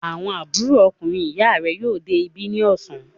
Àbúrò ọkùnrin ìyá rẹ yóò dé ibi ní ọ̀sán.